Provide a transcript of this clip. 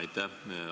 Aitäh!